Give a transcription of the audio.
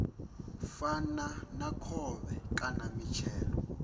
fana na khovhe kana mitshelo